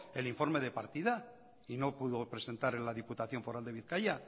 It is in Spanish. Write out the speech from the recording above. el informe de partida y no pudo presentar en la diputación foral de bizkaia